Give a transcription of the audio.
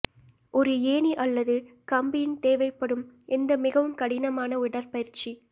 ஒரு ஏணி அல்லது கம்பியின் தேவைப்படும் எந்த மிகவும் கடினமான உடற்பயிற்சி